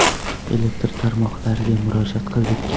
Elektr tarmoqlariga murojaat qildik.